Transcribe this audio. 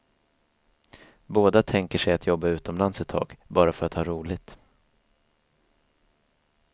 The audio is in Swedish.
Båda tänker sig att jobba utomlands ett tag, bara för att ha roligt.